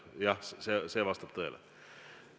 Jah, see vastab tõele.